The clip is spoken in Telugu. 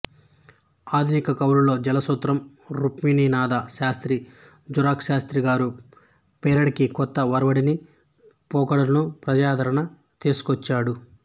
ఆధునిక కవులలో జలసూత్రం రుక్మిణీనాధ శాస్త్రి జరుక్ శాస్త్రి గారు పేరడీకి కొత్త ఒరవడిని పోకడలను ప్రజాదరణ తీసుకొచ్చాడు